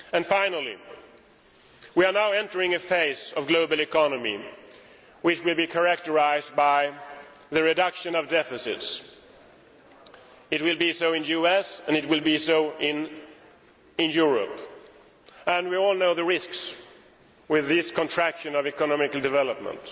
Finally, we are now entering a phase of global economy which will be characterised by the reduction of deficits. It will be so in the US, and it will be so in Europe. We all know the risks associated with the contraction of economic development.